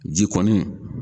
Ji kɔni